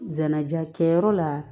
Jɛnaja kɛyɔrɔ la